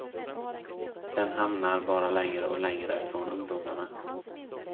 Den hamnar bara längre och längre från ungdomarna.